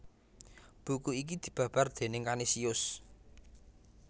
Buku iki dibabar déning Kanisius